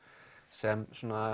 sem